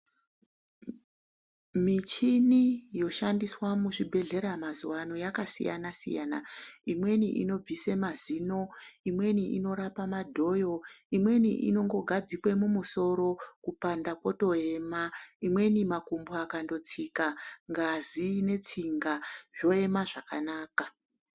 Michini yoshandiswa muzvibhedhlera mazuwa ano yakasiyana siyana imweni inobvise mazino imweni inorape madhoyo imweni inongogadzikwe mumusoro kupanda kwotoema imweni makumbo akandotsika ngazi netsinga zvoema zvakanaka.